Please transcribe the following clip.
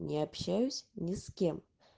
не общаюсь ни с кем